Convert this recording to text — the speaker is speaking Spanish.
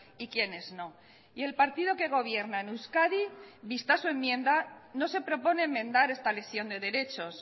y quienes no y el partido que gobierna en euskadi vista su enmienda no se propone enmendar esta lesión de derechos